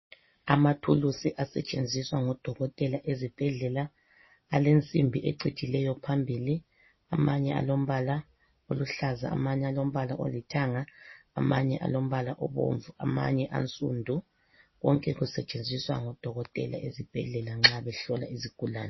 Amathulusi asentshenziswa ngodokotela ezibhedlela alensimbi ecijileyo phambili. Amanye alombala oluhlaza, amanye alombala olithanga, amanye alombala obomvu, amanye ansundu. Konke kusetshenziswa ngodokotela ezibhedlela nxa behlola izigulane.